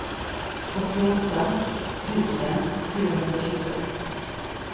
åttioåtta tusen fyrahundratjugoett